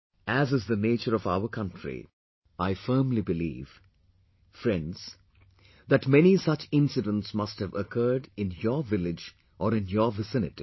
As is the nature of our country, I firmly believe, friends that many such incidents must have occurred in your village or in your vicinity